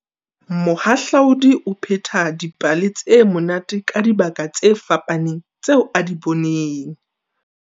Mohahlaudi o pheta dipale tse monate ka dibaka tse fapaneng tseo a di boneng.